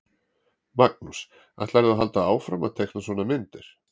Magnús: Ætlarðu að halda áfram að teikna svona myndir?